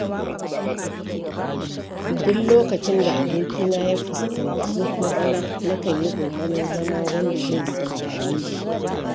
Duk lokacin da abokina ya fuskanci matsala, nakan yi ƙoƙarin zama wanda zai saurare shi.